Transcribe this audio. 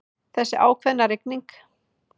Þessi ákveðna rigning.